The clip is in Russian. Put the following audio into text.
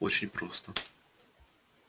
очень просто